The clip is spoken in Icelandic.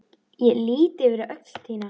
Ég lýt yfir öxl þína.